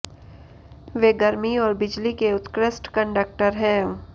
वे गर्मी और बिजली के उत्कृष्ट कंडक्टर हैं